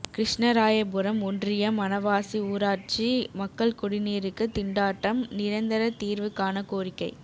கிருஷ்ணராயபுரம் ஒன்றியம் மணவாசி ஊராட்சி மக்கள் குடிநீருக்கு திண்டாட்டம் நிரந்தர தீர்வு காண கோரிக்கை